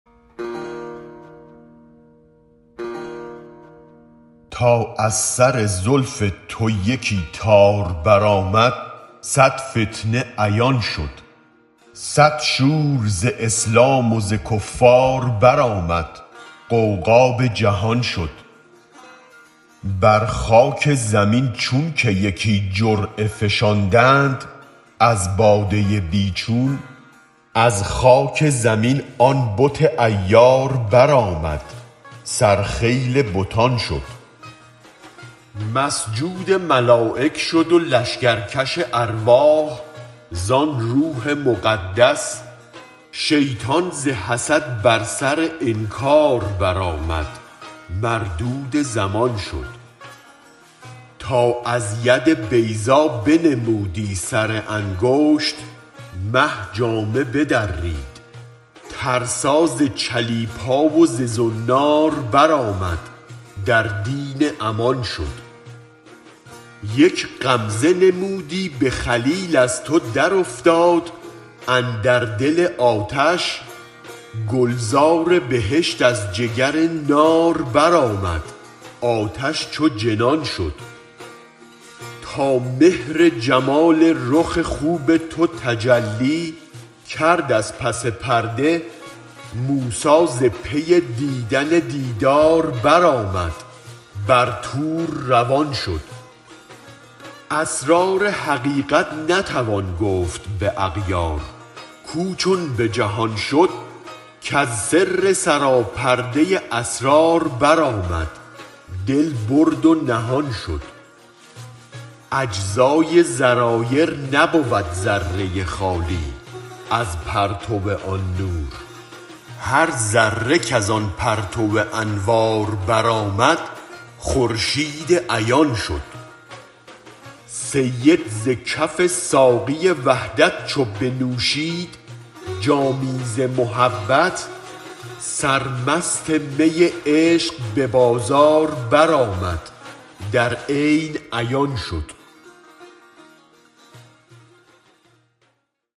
تا از سر زلف تو یکی تار برآمد صد فتنه عیان شد صد شور ز اسلام و ز کفار برآمد غوغا به جهان شد بر خاک زمین چون که یکی جرعه فشاندند از باده بی چون از خاک زمین آن بت عیار برآمد سر خیل بتان شد مسجود ملایک شد و لشکر کش ارواح زان روح مقدس شیطان ز حسد بر سر انکار برآمد مردود زمان شد تا از ید بیضا بنمودی سر انگشت مه جامه بدرید ترسا ز چلیپا و ز زنار بر آمد در دین امان شد یک غمزه نمودی به خلیل از تو در افتاد اندر دل آتش گلزار بهشت از جگر نار برآمد آتش چو جنان شد تا مهر جمال رخ خوب تو تجلی کرد از پس پرده موسی ز پی دیدن دیدار بر آمد بر طور روان شد اسرار حقیقت نتوان گفت به اغیار کو چون به جهان شد کز سر سرا پرده اسرار برآمد دل برد و نهان شد اجزای ذرایر نبود ذره خالی از پرتو آن نور هر ذره کز آن پرتو انوار برآمد خورشید عیان شد سید ز کف ساقی وحدت چو بنوشید جامی ز محبت سر مست می عشق به بازار برآمد در عین عیان شد